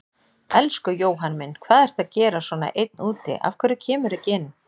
Elsku Jóhann minn, hvað ertu að gera svona einn úti, af hverju kemurðu ekki inn?